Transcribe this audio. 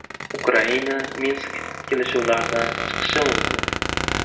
Ukraina Minsk kelishuvlaridan chiqishi mumkin.